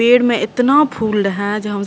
पेड़ में एतना फूल रहै जै हम --